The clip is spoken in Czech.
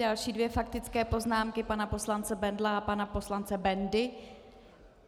Další dvě faktické poznámky pana poslance - Bendla a pana poslance Bendy.